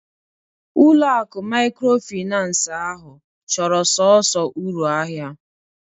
Ulo akụ maykrofinans ahụ chọrọ sọnsọ uru ahịa